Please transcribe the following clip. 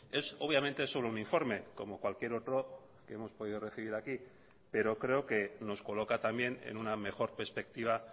es obviamente solo un informe como cualquier otro que hemos podido recibir aquí pero creo que nos coloca también en una mejor perspectiva